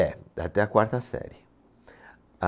É, até a quarta série. A